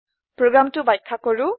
প্ৰোগ্ৰামটো ব্যাখ্যা কৰো